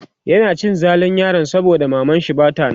yana cin zalin yaron saboda mamanshi Bata nan